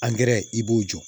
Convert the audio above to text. i b'o jɔ